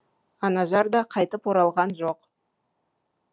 анажар да қайтып оралған жоқ